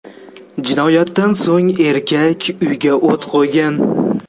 Jinoyatdan so‘ng erkak uyga o‘t qo‘ygan.